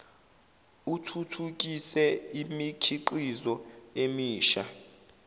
uthuthukise imikhiqizo emisha